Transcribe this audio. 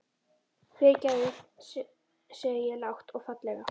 Fyrirgefðu, segi ég lágt og fallega.